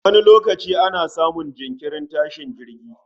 Wani lokaci ana samun jinkirin tashin jirgi